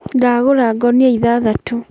Ndagũra ngũnia ithathatũ.